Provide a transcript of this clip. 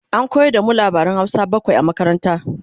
an koyar da mu labaran Hausa bakwai a makaranta